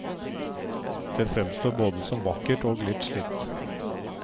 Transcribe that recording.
Det fremstår både som vakkert og litt slitt.